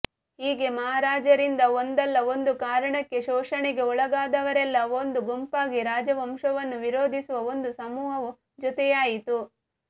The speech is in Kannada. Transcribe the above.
ಹೀಗೆ ಮಹಾರಾಜರಿಂದ ಒಂದಲ್ಲ ಒಂದು ಕಾರಣಕ್ಕೆ ಶೋಷಣೆಗೆ ಒಳಗಾದವರೆಲ್ಲ ಒಂದು ಗುಂಪಾಗಿ ರಾಜವಂಶವನ್ನು ವಿರೋಧಿಸುವ ಒಂದು ಸಮೂಹವು ಜೊತೆಯಾಯಿತು